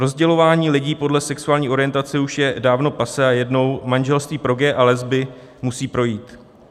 Rozdělování lidí podle sexuální orientace už je dávno passé a jednou manželství pro gaye a lesby musí projít.